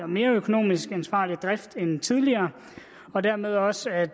mere økonomisk ansvarlig drift end tidligere og dermed også at